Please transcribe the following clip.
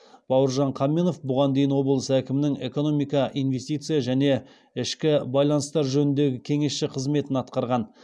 байыржан қаменов бұған дейін облыс әкімінің экономика инвестиция және ішкі байланыстар жөніндегі кеңесшісі қызметін атқарған